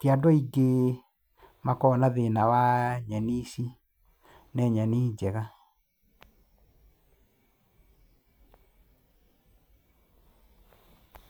tiandũ aingĩ makoragwo na thĩna wa nyeni ici, nĩ nyeni njega.